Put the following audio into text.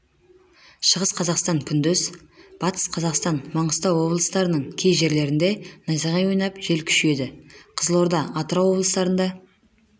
шығыс қазақстан күндіз батыс қазақстан маңғыстау облыстарының кей жерлерінде найзағай ойнап жел күшейеді қызылорда атырау облыстарында